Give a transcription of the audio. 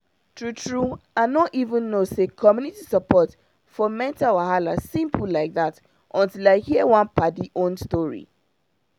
true true i no even know say community support for mental wahala simple like that until i hear one padi own story